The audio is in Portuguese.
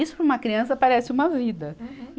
Isso, para uma criança, parece uma vida. Uhum.